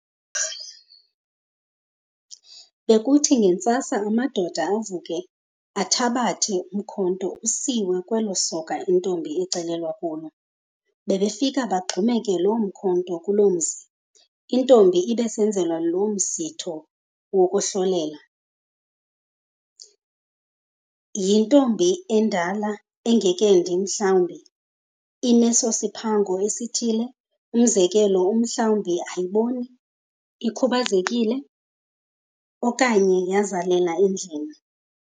Bekuthi ngentsasa amadoda avuke athabathe umkhonto usiwe kweli soka intombi icelelwa kulo, bebefika bagxumeke loo mkhonto kulo mzi. Intombi ebisenzelwa lomsitho wokuhlolela, yintombi endala engekendi, mhlambi inesosiphango sithile, umzekelo mhlambi ayiboni, ikhubazekile okanye yazalela edlwini.